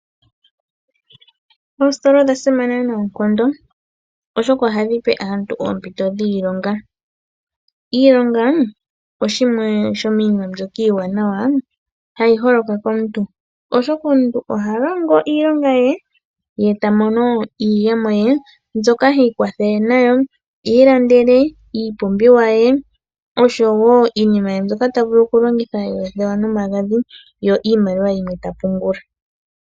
Oositola odha simana noonkondo, oshoka ohadhi pe aantu oompito dhiilonga. Iilonga oshimwe shomiinima mbyoka iiwanawa hayi holoka komuntu, oshoka omuntu oha longo iilonga ye, e ta mono iiyemo ye, mbyoka hi ikwatha nayo opo i ilandele iipumbiwa ye ngaashi oothewa nomagadhi, yo iimaliwa yimwe teyi pungula.